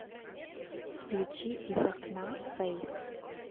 включи из окна фэйс